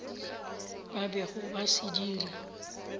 ba bego ba se dira